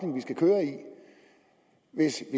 hvis